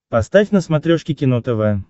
поставь на смотрешке кино тв